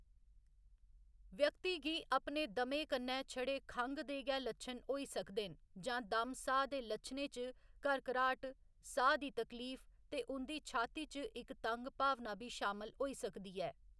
व्यक्ति गी अपने दमे कन्नै छड़े खंघ दे गै लच्छन होई सकदे न जां दम साह्‌‌ दे लच्छनें च घरघराहट साह् दी तकलीफ ते उं'दी छाती च इक तंग भावना बी शामल होई सकदी ऐ।